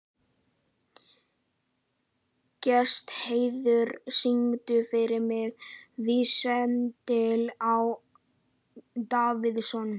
Gestheiður, syngdu fyrir mig „Vítisengill á Davidson“.